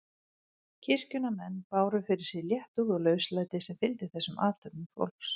Kirkjunnar menn báru fyrir sig léttúð og lauslæti sem fylgdi þessum athöfnum fólks.